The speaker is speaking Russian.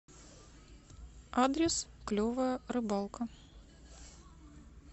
адрес клевая рыбалка